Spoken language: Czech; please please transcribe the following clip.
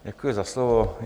Děkuji za slovo.